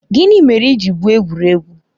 Gịnị mere i ji gwụo egwuregwu?